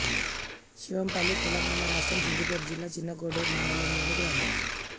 శివంపల్లి తెలంగాణ రాష్ట్రం సిద్ధిపేట జిల్లా చిన్నకోడూరు మండలంలోని గ్రామం